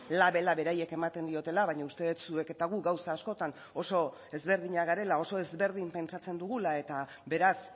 labela beraiek ematen diotela baina uste dut zuek eta guk gauza askotan oso ezberdinak garela oso ezberdin pentsatzen dugula eta beraz